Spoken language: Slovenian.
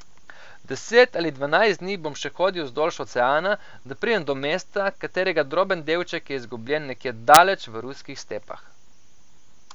Deset ali dvanajst dni bom še hodil vzdolž oceana, da pridem do mesta, katerega droben delček je izgubljen nekje daleč v ruskih stepah.